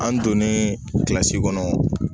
An donnen kilasi kɔnɔ